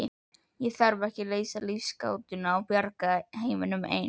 Ég þarf ekki að leysa lífsgátuna og bjarga heiminum ein.